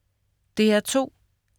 DR2: